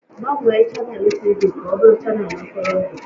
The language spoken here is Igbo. Gbanwee chanel TV ka ọ bụrụ chanel ntụrụndụ!